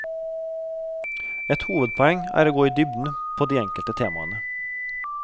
Et hovedpoeng er å gå i dybden på de enkelte temaene.